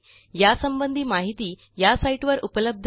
यासंबंधी माहिती या साईटवर उपलब्ध आहे